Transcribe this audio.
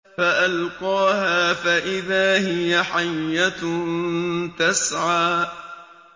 فَأَلْقَاهَا فَإِذَا هِيَ حَيَّةٌ تَسْعَىٰ